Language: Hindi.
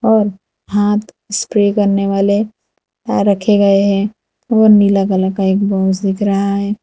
और हाथ स्प्रे करने वाले रखे गए हैं और नीला कलर का एक बॉक्स दिख रहा है।